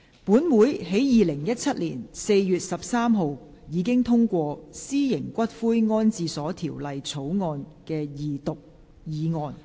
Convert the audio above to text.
本會在2017年4月13日，已通過《私營骨灰安置所條例草案》的二讀議案。